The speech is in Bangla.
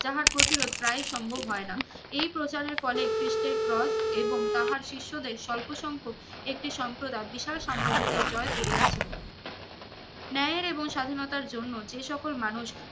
যাহার প্রতিরোধ প্রায়ই সম্ভব হয় না এই প্রচার এর ফলে খিস্টের স্ক্রোল এবং তাহার শিষ্যদের স্বল্প সংখ্যক একটি সম্প্রদায় বিশাল সাম্রাজ্যকে জয় করিয়াছিল ন্যায়ের এবং স্বাধীনতার জন্য যে সকল মানুষ